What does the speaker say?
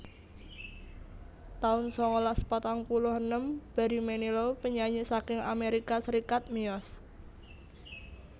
taun sangalas patang puluh enem Barry Manilow penyanyi saking Amerika Serikat miyos